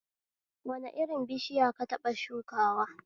Wani irin bishiya ka taɓa shukawa